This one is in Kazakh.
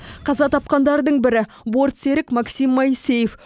қаза тапқандардың бірі бортсерік максим моисеев